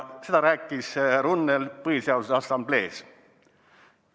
" Seda rääkis Runnel Põhiseaduse Assamblees.